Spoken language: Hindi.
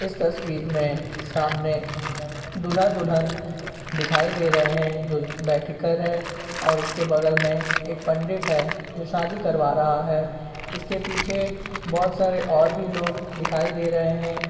इस तस्वीर मे सामने दूल्हा-दुल्हन दिखाई दे रहे हैं जो बैठे कर है और उसके बगल मे एक पंडित है जो शादी करवा रहा है। इसके पीछे बहोत सारे और भी लोग दिखाई दे रहे हैं।